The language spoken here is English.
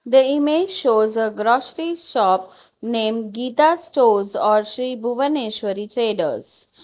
the image shows a grocery shop name geetha stores or sri bhuvaneshwari traders.